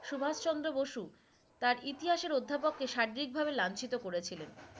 সুভাষ চন্দ্র বসু তার ইতিহাসের অধ্যাপক কে শারিরিক ভাবে লাঞ্ছিত করেছিলেন।